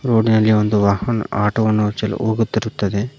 ರೋಡಿನಲ್ಲಿ ಒಂದು ವಾಹನ್ ಆಟೋ ವನ್ನು ಚೆಲ್ ಹೋಗುತ್ತಿರುತ್ತದೆ.